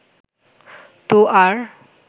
তো আর